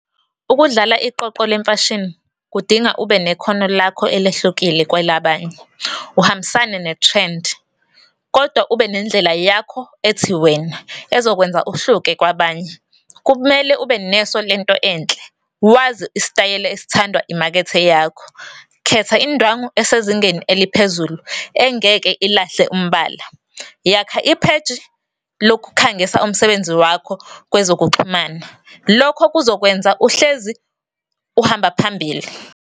Ukudlala iqoqo lemfashini kudinga ubekhona lakho elehlukile kwelabanye, uhambisane ne-trend kodwa ube nendlela yakho ethi wena ezokwenza uhluke kwabanye. Kumele ube neso lento enhle, wazi isitayela esithandwa imakethe eyakho. Khetha indwangu esezingeni eliphezulu engeke ilahle umbala, yakha ipheji lokukhangisa umsebenzi wakho kwezokuxhumana. Lokho kuzokwenza uhlezi uhamba phambili.